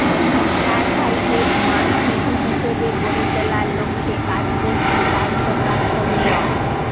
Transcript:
রাজশাহীকে smart city হিসেবে গড়ে তোলার লক্ষ্যে কাজ করছি দায়িত্বপ্রাপ্ত মেয়র